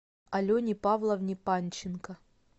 алене павловне панченко